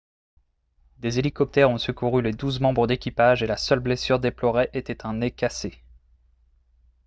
des hélicoptères ont secouru les douze membres d'équipage et la seule blessure déplorée était un nez cassé